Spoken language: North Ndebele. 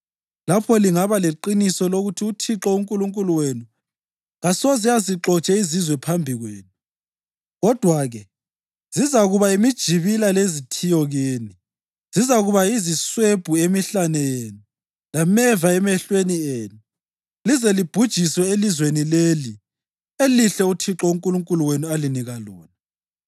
lapho lingaba leqiniso lokuthi uThixo uNkulunkulu wenu kasoze azixotshe izizwe phambi kwenu. Kodwa-ke zizakuba yimijibila lezithiyo kini, zizakuba yiziswebhu emihlane yenu lameva emehlweni enu, lize libhujiswe elizweni leli elihle uThixo uNkulunkulu wenu alinika lona.